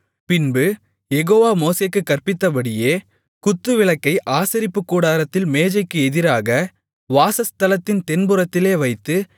பின்பு யெகோவா மோசேக்குக் கற்பித்தபடியே குத்துவிளக்கை ஆசரிப்புக்கூடாரத்தில் மேஜைக்கு எதிராக வாசஸ்தலத்தின் தென்புறத்திலே வைத்து